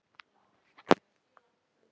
Hvítá getur átt við